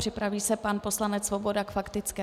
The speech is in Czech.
Připraví se pan poslanec Svoboda k faktické.